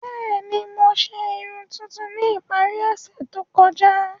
Bẹẹni, Mo ṣe irun tuntun ni ipari ose to kọja.